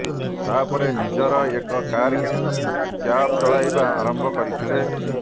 ତା ପରେ ନିଜର ଏକ କାର କିଣି କ୍ୟାବ୍ ଚଳାଇବା ଆରମ୍ଭ କରିଥିଲେ